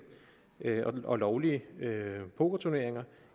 og lovlige pokerturneringer